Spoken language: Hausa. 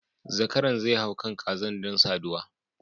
Zakaran zai hau kan kazar don saduwa